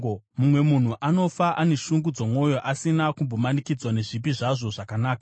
Mumwe munhu anofa ane shungu dzomwoyo, asina kumbonakidzwa nezvipi zvazvo zvakanaka.